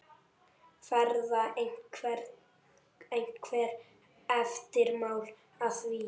Verða einhver eftirmál að því?